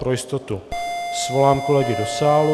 Pro jistotu svolám kolegy do sálu.